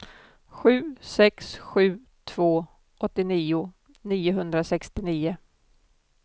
sju sex sju två åttionio niohundrasextionio